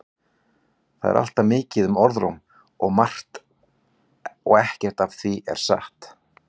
Það er alltaf mikið um orðróm um margt og ekkert af því er satt.